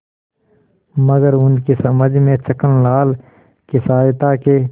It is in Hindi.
मगर उनकी समझ में छक्कनलाल की सहायता के